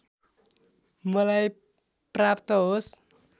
मलाई प्राप्त होस्